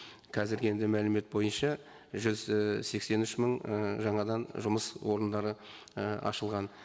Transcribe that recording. қазіргі енді мәлімет бойынша жүз і сексен үш мың і жаңадан жұмыс орындары і ашылған